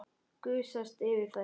Gusast yfir þær.